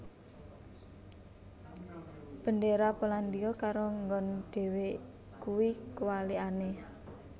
Bendera Polandia karo nggon dhewe kui kewalikane